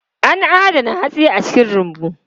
An adana hatsi a cikin rumbu.